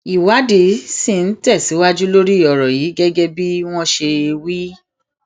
ìwádìí ṣì ń tẹsíwájú lórí ọrọ yìí gẹgẹ bí wọn ṣe wí